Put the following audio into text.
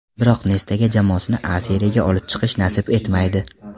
Biroq Nestaga jamoasini A Seriyaga olib chiqish nasib etmaydi.